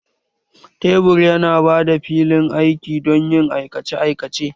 Tebur yana ba da filin aiki don yin aikace aikace